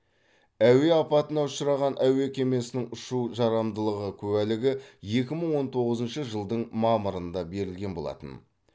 әуе апатына ұшыраған әуе кемесінің ұшу жарамдылығы куәлігі екі мың он тоғызыншы жылдың мамырында берілген болатын